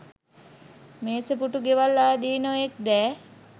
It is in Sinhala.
මේස පූටූ ගෙවල් ආදී නොයෙක් දෑ